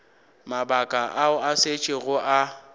mabaka ao a šetšego a